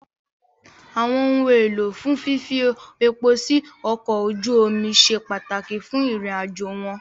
Àwọn ohun èlò fún fífi epo sí ọkọ̀ ojú omi ṣe pàtàkì fún ìrìnàjò wọn